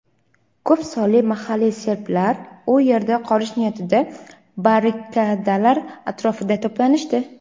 Ko‘p sonli mahalliy serblar u yerda qolish niyatida barrikadalar atrofida to‘planishdi.